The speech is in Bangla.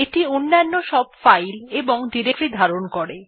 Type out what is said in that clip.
এইটি অন্যান্য সব ফাইল এবং ডিরেক্টরী ধারণ করে